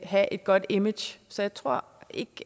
have et godt image så jeg tror ikke